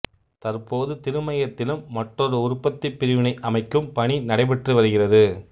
தற்போது திருமயத்திலும் மற்றொரு உற்பத்திப் பிரிவினை அமைக்கும் பணி நடைபெற்று வருகிறது